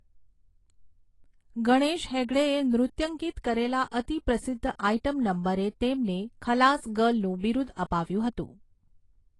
ગણેશ હેગડેએ નૃત્યંકિત કરેલા અતિ પ્રસિદ્ધ આઇટમ નંબરે તેમને 'ખલાસ ગર્લ' નું બિરુદ અપાવ્યું હતું.